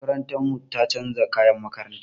Makarantar mu ta chanza kayan makaranta.